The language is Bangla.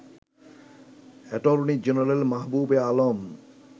attorney general Mahbubey Alam